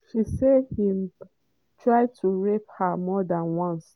“he bin dey horrible” na so one of di women sophia wey work wey work as im personal assistant from 1988 to 1991 tok.